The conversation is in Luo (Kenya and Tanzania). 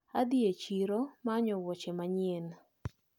Adhi e chiro manyo wuoche manyien.